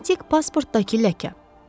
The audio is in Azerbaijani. Diplomatik pasportdakı ləkə.